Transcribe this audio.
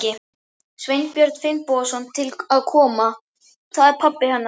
Sveinbjörn Finnbogason til að koma. það er pabbi hennar.